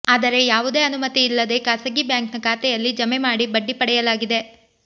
ಆದರೆ ಯಾವುದೇ ಅನುಮತಿ ಇಲ್ಲದೆ ಖಾಸಗೀ ಬ್ಯಾಂಕ್ನ ಖಾತೆಯಲ್ಲಿ ಜಮೆ ಮಾಡಿ ಬಡ್ಡಿ ಪಡೆಯಲಾಗಿದೆ